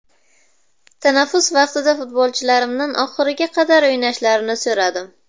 Tanaffus vaqtida futbolchilarimdan oxiriga qadar o‘ynashni so‘radim”.